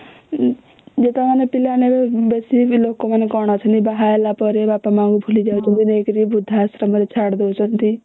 ଯେତେବେଳେ ଆମେ ପିଲା ମାନେ ଏବେ ବେଶୀ ବି ଲୋକ ମାନେ କଣ ଅଛନ୍ତି ବାହା ହେଲା ପରେ ବାପା ମା ଙ୍କୁ ଭୁଲି ଯାଉଛନ୍ତି ନେଇକିରି ଵୃଦ୍ଧାଶ୍ରମ ରେ ଛାଡି ଦଉଛନ୍ତି